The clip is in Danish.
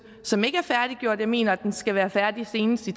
som ikke er færdiggjort jeg mener den skal være færdig senest i